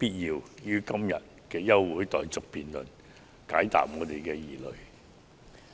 並於今天的休會待續議案的辯論中解答我們的疑問及釋除疑慮。